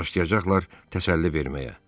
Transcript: Başlayacaqlar təsəlli verməyə.